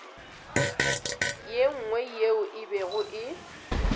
nngwe yeo e bego e